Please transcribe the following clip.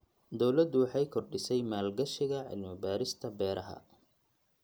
Dawladdu waxay kordhisay maalgashiga cilmi-baarista beeraha.